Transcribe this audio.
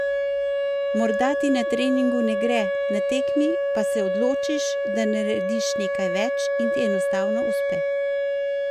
Morda ti na treningu ne gre, na tekmi pa se odločiš, da narediš nekaj več in ti enostavno uspe.